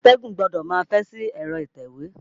Atẹ́gùn gbọdọ̀ máa fẹ́ sí ẹ̀rọ atẹ̀wé.